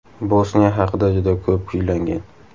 Bosniya haqida juda ko‘p kuylangan.